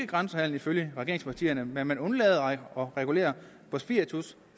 grænsehandel ifølge regeringspartierne men man undlader at regulere for spiritus